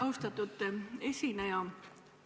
Austatud esineja!